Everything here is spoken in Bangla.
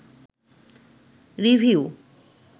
রিভিউ